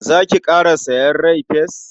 Za ki ƙara sayen rai-fes?